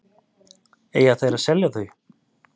Eiga þeir að selja þau?